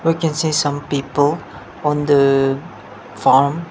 we can see some people on the farm.